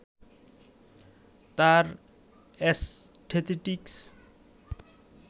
তার অ্যাসথেটিকস